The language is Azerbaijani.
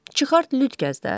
Çıxart lüt gəz də.